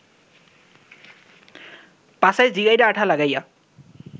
পাছায় জিগাইরা আঠা লাগাইয়া